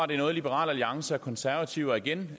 det er noget liberal alliance og konservative og igen